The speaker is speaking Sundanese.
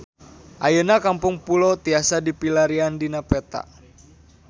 Ayeuna Kampung Pulo tiasa dipilarian dina peta